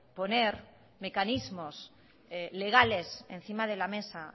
poner mecanismos legales encima de la mesa